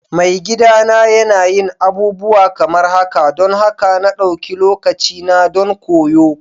Maigidana yana yin abubuwa kamar haka don haka na ɗauki lokacina don koyo.